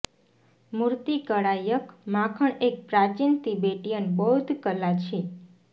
મૂર્તિકળા યક માખણ એક પ્રાચીન તિબેટીયન બૌદ્ધ કલા છે